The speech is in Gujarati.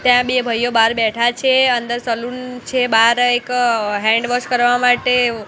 ત્યાં બે ભાઇઓ બાર બેઠા છે અંદર સલૂન છે બાર એક હેન્ડવોશ કરવા માટે--